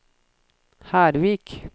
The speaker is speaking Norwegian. Hervik